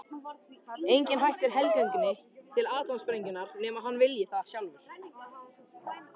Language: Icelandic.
Enginn hættir helgöngunni til atómsprengjunnar nema hann vilji það sjálfur.